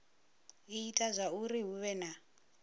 ita zwauri hu vhe na